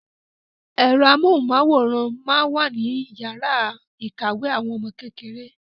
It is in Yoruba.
Ẹ̀rọ amóhùnmáwòrán máa ń wà níyàrá ìkàwé àwọn ọmọ kékeré.